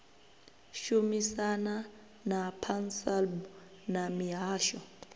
shumisana na pansalb na mihasho